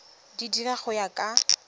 di dira go ya ka